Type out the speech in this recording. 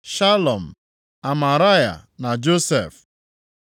Shalum, Amaraya na Josef.